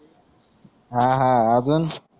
हा हा आजून